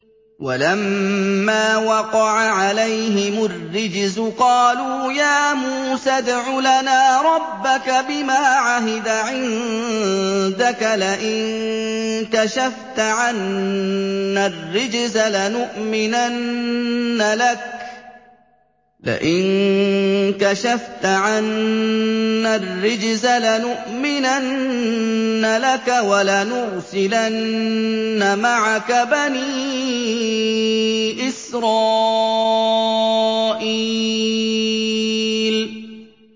وَلَمَّا وَقَعَ عَلَيْهِمُ الرِّجْزُ قَالُوا يَا مُوسَى ادْعُ لَنَا رَبَّكَ بِمَا عَهِدَ عِندَكَ ۖ لَئِن كَشَفْتَ عَنَّا الرِّجْزَ لَنُؤْمِنَنَّ لَكَ وَلَنُرْسِلَنَّ مَعَكَ بَنِي إِسْرَائِيلَ